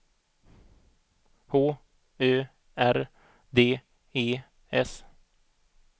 H Ö R D E S